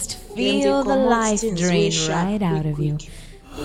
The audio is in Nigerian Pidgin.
dem dey comot things wey sharp quick quick